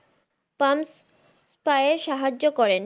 palms পায়ের সাহায্য করেন।